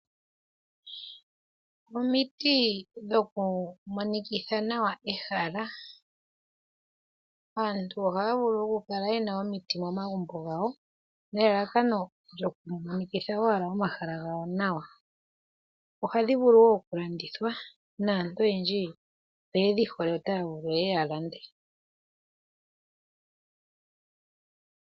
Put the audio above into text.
Omiti dhokumonikitha nawa ehala. Aantu ohaya vulu okukala ye na omiti momagumbo gawo, nelalakano lyokumonikitha owala omahala gawo nawa. Ohadhi vulu wo okulandithwa, naantu oyendji oye dhi hole, otaya vulu ye ye ya lande.